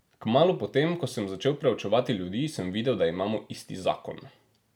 Kmalu po tem, ko sem začel preučevati ljudi, sem videl, da imamo isti zakon.